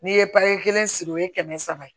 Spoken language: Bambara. N'i ye pataki kelen sigi o ye kɛmɛ saba ye